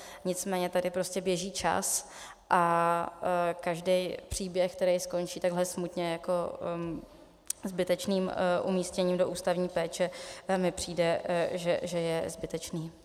Nicméně tady prostě běží čas a každý příběh, který skončí takhle smutně jako zbytečným umístěním do ústavní péče, mi přijde, že je zbytečný.